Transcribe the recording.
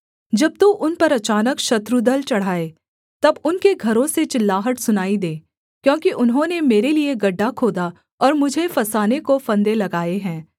जब तू उन पर अचानक शत्रुदल चढ़ाए तब उनके घरों से चिल्लाहट सुनाई दे क्योंकि उन्होंने मेरे लिये गड्ढा खोदा और मुझे फँसाने को फंदे लगाए हैं